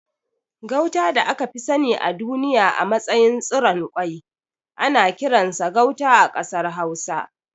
Gauta da aka fi sani a duniya a matsayin tsiron kwai ana kiransa Gauta a ƙasar Hausa.